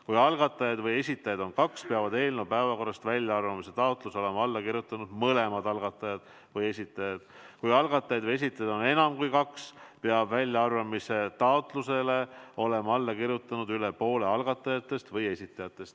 Kui algatajaid või esitajaid on kaks, peavad eelnõu päevakorrast väljaarvamise taotluse olema alla kirjutanud mõlemad algatajad või esitajad, kui algatajaid või esitajaid on enam kui kaks, peab väljaarvamise taotlusele olema alla kirjutanud üle poole algatajatest või esitajatest.